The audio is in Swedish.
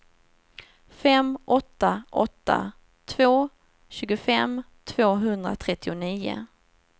fem åtta åtta två tjugofem tvåhundratrettionio